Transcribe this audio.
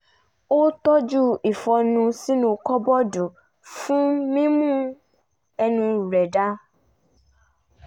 ó tọju ìfọ́nú sínú kọ́bọ́ọ̀dù fún mímú ẹnu rẹ̀ dáa